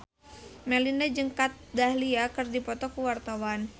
Melinda jeung Kat Dahlia keur dipoto ku wartawan